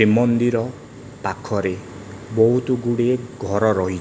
ଶ୍ରୀ ମନ୍ଦିର ପାଖରେ ବହୁତ ଗୁଡ଼ିଏ ଘର ରହି।